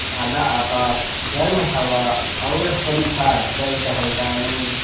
काला आकाश गर्म हवा और हरी घास पर टहलता मैं